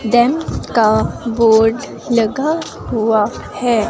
Jam का board लगा हुआ है।